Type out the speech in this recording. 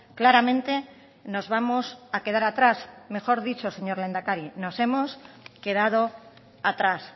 claramente nos vamos a quedar atrás mejor dicho señor lehendakari nos hemos quedado atrás